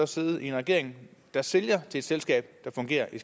sidde i en regering der sælger til et selskab der fungerer i